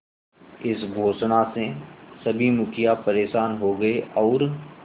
इस घोषणा से सभी मुखिया परेशान हो गए और